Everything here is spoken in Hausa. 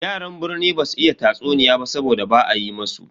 Yaran birni basu iya tatsuniya ba saboda ba a yi musu.